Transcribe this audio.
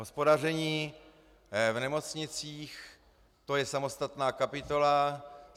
Hospodaření v nemocnicích, to je samostatná kapitola.